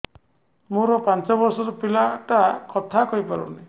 ମୋର ପାଞ୍ଚ ଵର୍ଷ ର ପିଲା ଟା କଥା କହି ପାରୁନି